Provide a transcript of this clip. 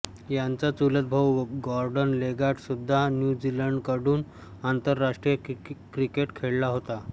याचा चुलतभाऊ Gordon Leggat सुद्धा न्यू झीलँडकडून आंतरराष्ट्रीय क्रिकेट खेळला होता